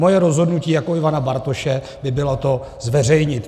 Moje rozhodnutí jako Ivana Bartoše by bylo to zveřejnit.